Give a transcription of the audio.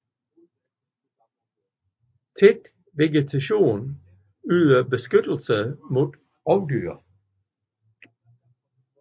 Tæt vegetation yder beskyttelse mod rovdyr